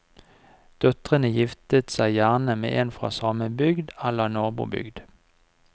Døtrene gifter seg gjerne med en fra samme bygd eller nabobygd.